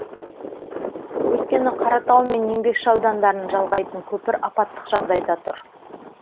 өйткені қаратау мен еңбекші аудандарын жалғайтын көпір апаттық жағдайда тұр